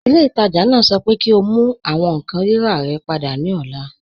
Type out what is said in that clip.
Ilẹ̀-itaajà naa sọ̀ pẹ kí o mú àwọn nkan rírà rẹ̀ pada ni ọ̀là